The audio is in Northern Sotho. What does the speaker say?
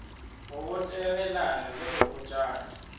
go botegelana le go botšana